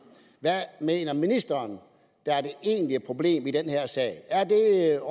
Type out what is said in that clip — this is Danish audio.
hvad mener ministeren der er det egentlige problem i den her sag er